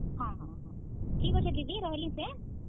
ଠିକ୍ ଅଛେ ଦିଦି ରହେଲି ସେ।